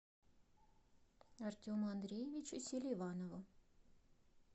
артему андреевичу селиванову